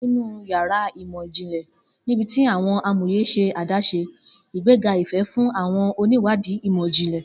Ninu yàrá imọ-jinlẹ, nibiti awọn amoye ṣe adaṣe, igbega ifẹ fun awọn oniwadi imọ-jinlẹ.